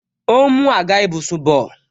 Ó ń mú àga ìbùsùn bọ